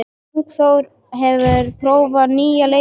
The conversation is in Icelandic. Ingþór, hefur þú prófað nýja leikinn?